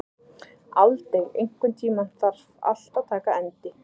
Aldey, einhvern tímann þarf allt að taka enda.